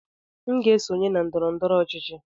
M ga-esonye na ndọrọ ndọrọ ọchịchị.